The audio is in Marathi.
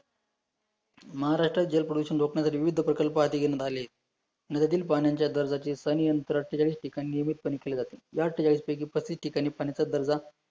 महाराष्ट्रस जल प्रदूषण रोखण्यासाठी विविध प्रकल्प आटीगीन राहले, नद्यातील पाण्याच्या दर्जाची स्थानी अंतराळ अठेचाळीस ठिकाणी नियमितपणे केली जाते, या अठेचाळीस पैकी प्रत्येक ठिकाणी पाण्याचा दर्जा